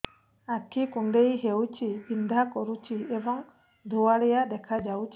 ଆଖି କୁଂଡେଇ ହେଉଛି ବିଂଧା କରୁଛି ଏବଂ ଧୁଁଆଳିଆ ଦେଖାଯାଉଛି